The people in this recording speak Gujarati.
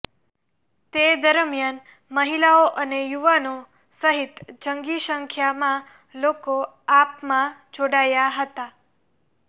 તે દરમિયાન મહિલાઓ અને યુવાનો સહિત જંગી સંખ્યામાં લોકો આપમાં જોડાયા હતા